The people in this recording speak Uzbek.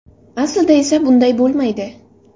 Aslida esa bunday bo‘lmaydi.